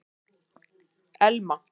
Elma